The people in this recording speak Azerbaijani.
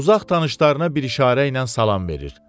Uzaq tanışlarına bir işarə ilə salam verir.